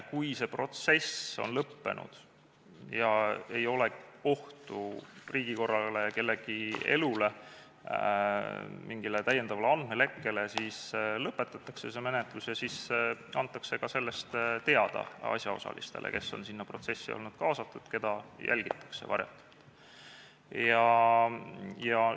Kui see protsess on lõppenud ega ole ohtu riigikorrale, kellegi elule, mingi täiendava andmelekke ohtu, siis see menetlus lõpetatakse ja antakse sellest teada ka asjaosalistele, kes on sinna protsessi olnud kaasatud ja keda varjatult on jälgitud.